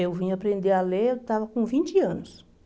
Eu vim aprender a ler, eu estava com vinte anos.